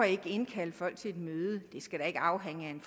ikke indkalder folk til et møde det skal da ikke afhænge af en